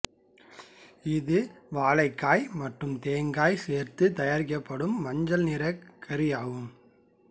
இது வாழைக்காய் மற்றும் தேங்காய் சேர்த்துத் தயாரிக்கப்படும் மஞ்சள் நிற கறி ஆகும்